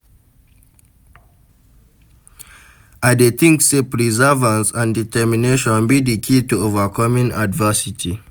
I dey think say perseverance and determination be di key to overcoming adversity.